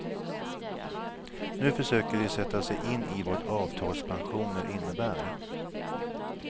Nu försöker de sätta sig in i vad avtalpensioner innebär.